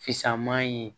Fisaman ye